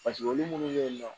olu munnu bɛ yen nɔ